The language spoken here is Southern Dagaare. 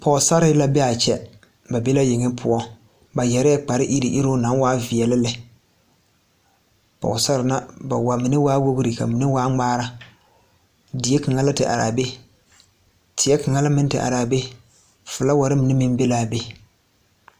Pɔgesare la be a kyɛ ba be la yeŋe poɔ ba yɛrɛɛ kpareiruŋ iruŋ naŋ waa veɛle lɛ pɔgesare ŋa ba mine waa wogri ka mine waa ŋmaara die kaŋa la te are a be teɛ kaŋ la meŋ te are a be filawari mine meŋ be la a be.